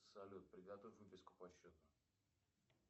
салют приготовь выписку по счету